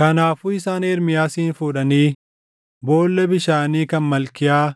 Kanaafuu isaan Ermiyaasin fuudhanii boolla bishaanii kan Malkiyaa